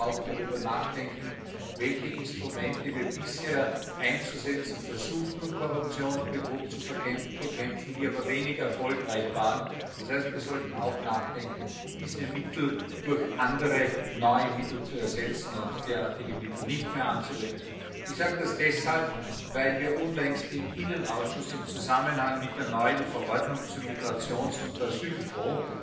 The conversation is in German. Wir sollten aber auch darüber nachdenken, mit welchen Instrumenten wir bisher versucht haben, Korruption und Betrug zu bekämpfen, die aber wenig erfolgreich waren. Das heißt, wir sollten auch darüber nachdenken, diese Mittel durch andere, neue Mittel zu ersetzen und derartige Mittel nicht mehr anzuwenden. Ich sage das deshalb, weil wir unlängst im Innenausschuss im Zusammenhang mit der neuen Verordnung zum Migrations und Asylfonds